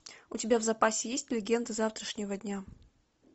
у тебя в запасе есть легенды завтрашнего дня